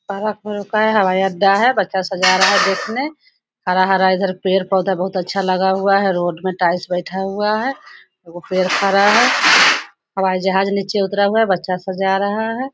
हवाई अड्डा है पचास हजार हैब हरा-हरा पेड़-पोधा बहुत अच्छा लगा हुआ है रोड में टाइल्स बैठा हुआ है। पेड़ खड़ा है। हवाई जहाज नीचे उतरा हुआ है। बच्चा सा जा रहा है।